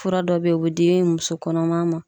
Fura dɔ bɛ yen o bɛ di muso kɔnɔma ma.